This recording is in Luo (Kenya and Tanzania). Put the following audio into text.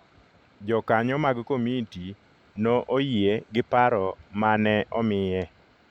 Jokanyo mag komiti no oyie gi paro ma ne omiye.